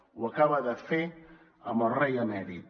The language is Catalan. ho acaba de fer amb el rei emèrit